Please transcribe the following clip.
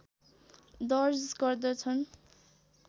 दर्ज गर्दछन्